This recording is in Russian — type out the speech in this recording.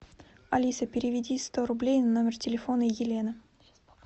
алиса переведи сто рублей на номер телефона елена